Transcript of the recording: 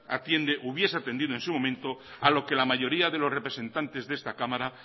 hubiese atendido en su momento a lo que la mayoría de los representantes de esta cámara